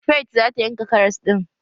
Faith zata yanka karas ɗin.